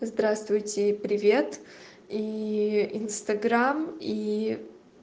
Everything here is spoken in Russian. здравствуйте привет и инстаграм и